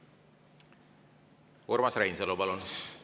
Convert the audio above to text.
Urmas Reinsalu, palun!